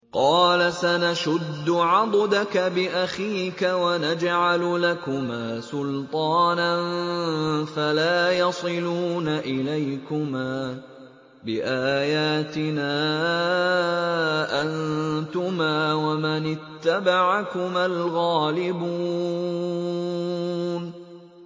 قَالَ سَنَشُدُّ عَضُدَكَ بِأَخِيكَ وَنَجْعَلُ لَكُمَا سُلْطَانًا فَلَا يَصِلُونَ إِلَيْكُمَا ۚ بِآيَاتِنَا أَنتُمَا وَمَنِ اتَّبَعَكُمَا الْغَالِبُونَ